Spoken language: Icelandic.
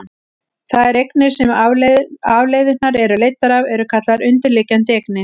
þær eignir sem afleiðurnar eru leiddar af eru kallaðar undirliggjandi eignir